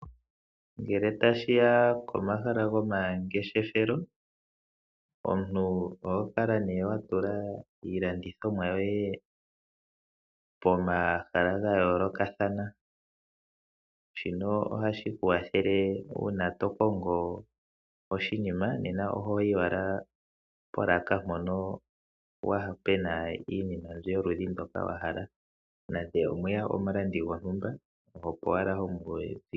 Ngele tashiya komahala gomangeshefelo omuntu oho kala nee wa tula iilandithomwa yoye pomahala ga yoolokathana shino ohashi ku kwathele uuna tokongo oshinima nena ohoyi owala polaka mpono pena iinima mbyo yoludhi ndoka wa hala nande omwe ya omulandi gontumba opo wala homu ulukile.